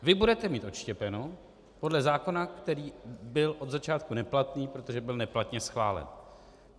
Vy budete mít odštěpeno podle zákona, který byl od začátku neplatný, protože byl neplatně schválen.